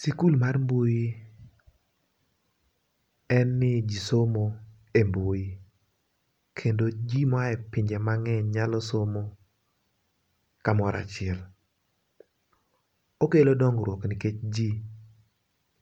Sikul mar mbui en ni ji somo e mbui, kendo ji moa e pinje mang'eny nyalo somo kamoro achiel. Okelo dongruok nikech ji